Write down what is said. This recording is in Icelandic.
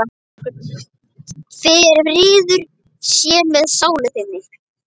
Friður sé með sálu þinni.